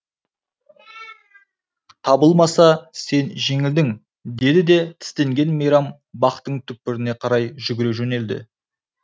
табылмаса сен жеңілдің деді де тістенген мейрам бақтың түкпіріне қарай жүгіре жөнелді